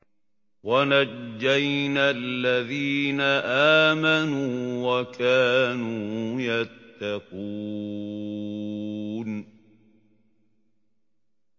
وَنَجَّيْنَا الَّذِينَ آمَنُوا وَكَانُوا يَتَّقُونَ